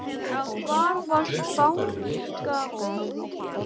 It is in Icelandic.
Hvað var spánska veikin?